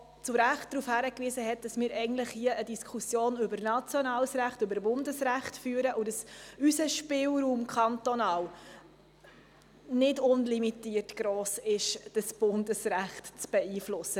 Er hat zu Recht darauf hingewiesen, dass wir hier eine Diskussion über nationales Recht, über Bundesrecht, führen und dass der kantonale Spielraum nicht unlimitiert ist, um dieses Bundesrecht zu beeinflussen.